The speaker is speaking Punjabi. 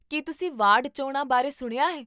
ਕੀ ਤੁਸੀਂ ਵਾਰਡ ਚੋਣਾਂ ਬਾਰੇ ਸੁਣਿਆ ਹੈ?